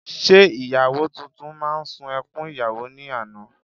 Ṣé ìyàwó tuntun máa ṣun ẹkún ìyàwó ní àná?